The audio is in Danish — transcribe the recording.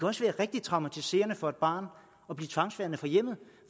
også være rigtig traumatiserende for et barn at blive tvangsfjernet fra hjemmet